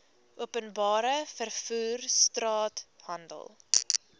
openbare vervoer straathandel